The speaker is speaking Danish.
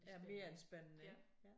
Ja mere end spændende ik ja